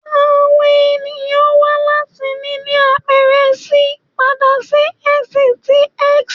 Awọn eniyan wa lati nini apẹrẹ C pada si ẹhin ti S